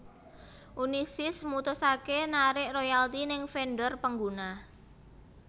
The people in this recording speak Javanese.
Unisys mutusaké narik royalti neng vendor pengguna